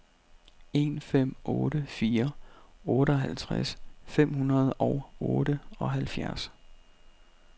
en fem otte fire otteoghalvtreds fem hundrede og otteoghalvfjerds